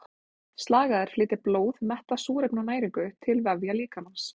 Slagæðar flytja blóð mettað súrefni og næringu til vefja líkamans.